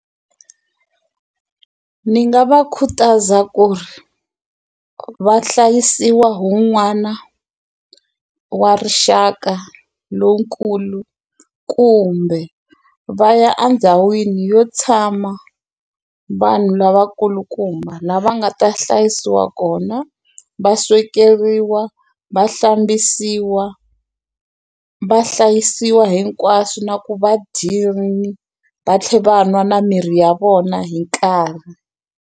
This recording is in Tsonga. Ni nga va khutaza ku ri va hlayisiwa hu wun'wana wa rixaka lowunkulu kumbe va ya andhawini yo tshama vanhu lavakulukumba lava nga ta hlayisiwa kona va swekeriwa va hlambisiwa vahlayisiwa hinkwaswo na ku va dyini va tlhe va nwa na mirhi ya vona hi nkarhi.